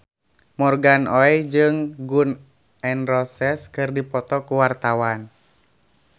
Morgan Oey jeung Gun N Roses keur dipoto ku wartawan